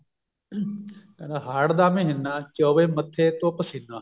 ਕਹਿੰਦੇ ਹਾੜ ਦਾ ਮਹੀਨਾ ਚੋਵੇ ਮੱਥੇ ਉੱਤੋਂ ਪਸੀਨਾ